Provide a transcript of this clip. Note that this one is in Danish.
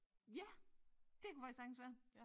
Ja det kunne faktisk sagtens være